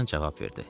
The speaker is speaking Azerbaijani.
Loran cavab verdi.